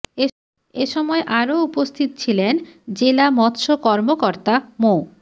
এ সময় আরো উপস্থিত ছিলেন জেলা মৎস্য কর্মকর্তা মো